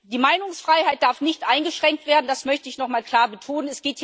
Die Meinungsfreiheit darf nicht eingeschränkt werden das möchte ich nochmal klar betonen.